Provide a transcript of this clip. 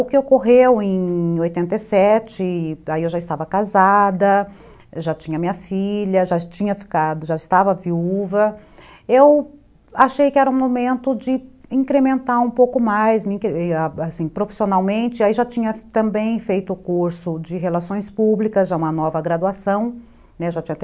O que ocorreu em oitenta e sete, aí eu já estava casada, já tinha minha filha, já tinha ficado, já estava viúva, eu achei que era o momento de incrementar um pouco mais, profissionalmente, aí já tinha também feito o curso de relações públicas, já uma nova graduação, já tinha terminado a minha segunda graduação, né,